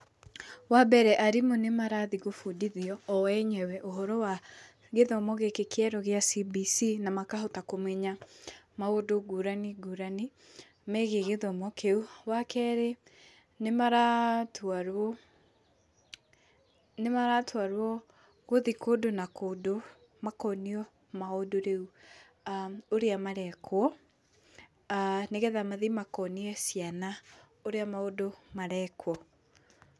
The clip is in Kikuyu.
Wambere, arimũ nĩmarathiĩ gũbundithio o enyewe ũhoro wa gĩthomo gĩkĩ kĩerũ gĩa CBC na makahota kũmenya maũndũ ngũrani ngũrani, megiĩ gĩthomo kĩũ, wa kerĩ nĩmaratwarwo nĩmaratwarwo gũthiĩ kũndũ na kũndũ, makonio maũndũ rĩũ a ũrĩa marekwo, a nĩgetha mathiĩ makonie ciana ũrĩa maũndũ marekwo.